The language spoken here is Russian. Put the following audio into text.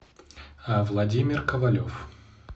владимир ковалев